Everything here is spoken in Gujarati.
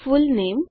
ફુલનેમ